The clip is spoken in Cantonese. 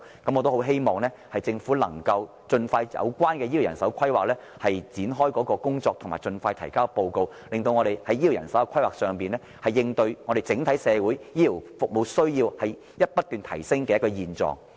我很希望政府盡快就醫療人手規劃展開工作，以及盡快提交報告，令我們在醫療人手的規劃上，能夠應對整體社會對醫療服務的需要不斷提升的現狀。